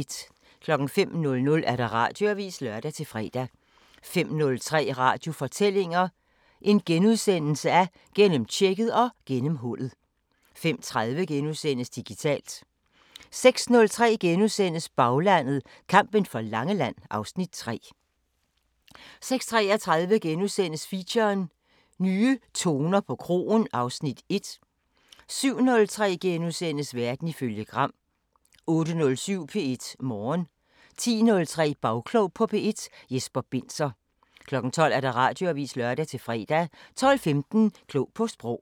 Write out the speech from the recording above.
05:00: Radioavisen (lør-fre) 05:03: Radiofortællinger: Gennemtjekket og gennemhullet * 05:30: Digitalt * 06:03: Baglandet: Kampen for Langeland (Afs. 3)* 06:33: Feature: Nye toner på kroen (Afs. 1)* 07:03: Verden ifølge Gram * 08:07: P1 Morgen 10:03: Bagklog på P1: Jesper Binzer 12:00: Radioavisen (lør-fre) 12:15: Klog på Sprog